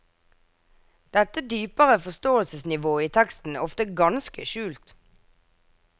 Dette dypere forståelsesnivået i teksten er ofte ganske skjult.